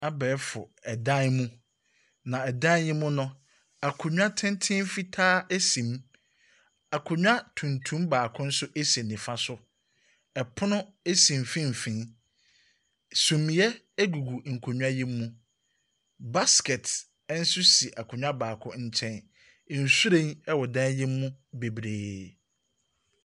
Abɛɛfo dan mu, na ɛdan yi mu no, akonnwa tenten fitaa si mu. Akonnwa tuntum baako nso si nifa so. Ɛpono si mfimfini. Sumiiɛ gugu nkonnwa yi mu. Basket nso si akonnwa baako nkyɛn. Nhwiren wɔ dan yi mu bebree.